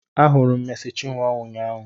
Ahụrụ m Meci Chinwo ụnyaahụ